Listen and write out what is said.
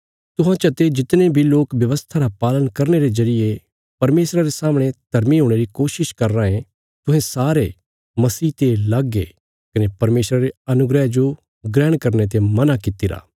तुहां चते जितने बी लोक व्यवस्था रा पालन करने रे जरिये परमेशरा रे सामणे धर्मी हुणे री कोशिश करया राँये तुहें सारे मसीह ते लग ये कने परमेशरा रे अनुग्रह जो ग्रहण करने ते मना कित्तिरा